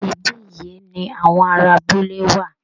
Ibí yìí ni àwọn ará abúlé wà